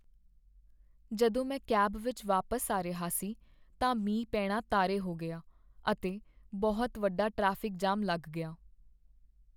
ਜਦੋਂ ਮੈਂ ਕੈਬ ਵਿੱਚ ਵਾਪਸ ਆ ਰਿਹਾ ਸੀ ਤਾਂ ਮੀਂਹ ਪੇਣਾ ਤਾਰੇ ਹੋ ਗਿਆ, ਅਤੇ ਬਹੁਤ ਵੱਡਾ ਟ੍ਰੈਫਿਕ ਜਾਮ ਲੱਗ ਗਿਆ।